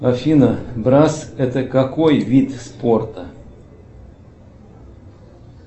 афина брасс это какой вид спорта